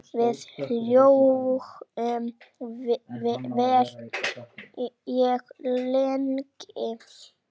Við hlógum vel og lengi.